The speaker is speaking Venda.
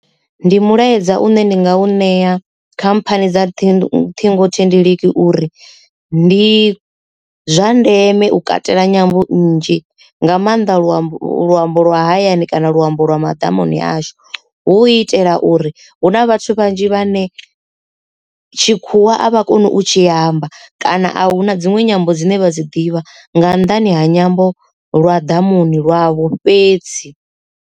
Ndi mulaedza u ne ndi nga u ṋea khamphani dza ṱhingothendeleki uri ndi zwa ndeme u katela nyambo nnzhi nga maanda luambo luambo lwa hayani kana luambo lwa madamuni ashu hu itela uri hu na vhathu vhanzhi vhane tshikhuwa a vha koni u tshi amba kana a hu na dziṅwe nyambo dzine vha dzi ḓivha nga nnḓani ha nyambo lwa ḓamuni lwavho fhedzi.